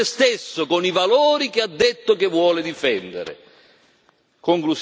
Starà meglio con se stesso, con i valori che ha detto di voler difendere.